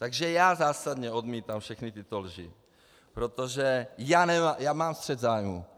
Takže já zásadně odmítám všechny tyto lži, protože já mám střet zájmů.